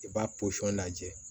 I b'a pɔsɔn lajɛ